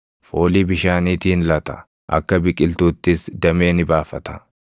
foolii bishaaniitiin lata; akka biqiltuuttis damee ni baafata.